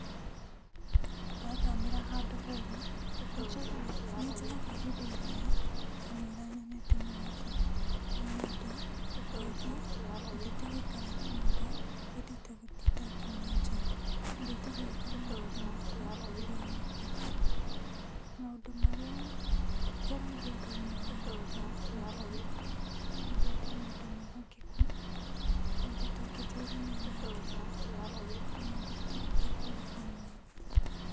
Ndathamĩra handũ herũ, nĩnjoyaga, nĩnjoyaga ihinda iraya kamũira nyonete mũrata. ũũ nĩndũ kaingĩ nyendete gũikara nyũmba, ndienete gũtinda ngiuma nja. Nyendete gũĩka maũndũ makwa ndĩrĩ owike. Maũndũ marĩa njaragia thĩiniĩ wa arata nita, nyendete mũndũ mwĩhokeku, mũndũ tũngĩteithania nake na mũndũ tũngĩkũra hamwe.